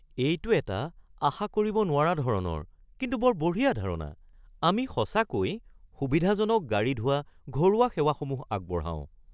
এইটো এটা আশা কৰিব নোৱাৰা ধৰণৰ কিন্তু বৰ বঢ়িয়া ধাৰণা! আমি সঁচাকৈ সুবিধাজনক গাড়ী ধোৱা ঘৰুৱা সেৱাসমূহ আগবঢ়াওঁ।